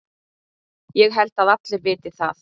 Ég held að allir viti það.